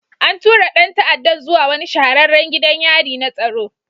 An tura ɗan ta'addan zuwa wani shahararren gidan yari na tsaro